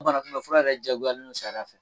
Bana kumɛn fura yɛrɛ jagoyalen don sariya la.